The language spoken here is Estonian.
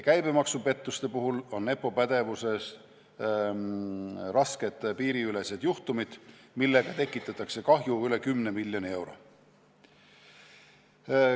Käibemaksupettuste puhul on EPPO pädevuses rasked piiriülesed juhtumid, millega tekitatakse kahju üle 10 miljoni euro.